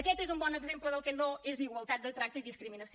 aquest és un bon exemple del que no és igualtat de tracte i no discriminació